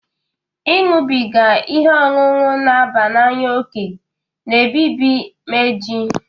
Ị ñụbiga ihe ọṅụṅụ n'aba n'anya oke na-ebibi meji